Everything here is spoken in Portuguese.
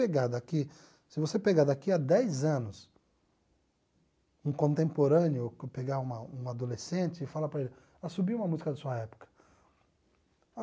pegar daqui se você pegar daqui há dez anos, um contemporâneo, pegar uma um adolescente e falar para ele assobia uma música da sua época.